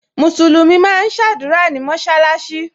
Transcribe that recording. Musulumi máa ń sadura ní mọsalasi